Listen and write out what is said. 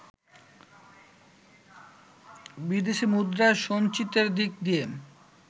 বিদেশি মুদ্রার সঞ্চিতির দিক দিয়ে